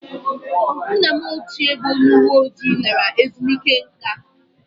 Nna m ochie bụ onye uwe ojii lara ezumike nká